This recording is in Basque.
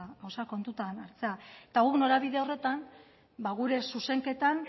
gauzak kontutan hartzea eta gu norabide horretan gure zuzenketan